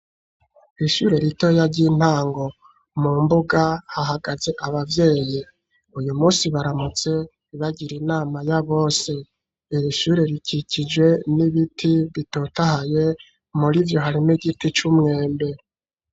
Ishure ritoya ry'intango mu mbuga hahagaze abavyeyi uyu munsi baramutse bagira inama ya bose irishure rikikije n'ibiti bitotahaye muri ibyo harimo igiti c'umwembe.